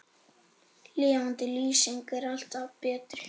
Lifandi lýsing er alltaf betri.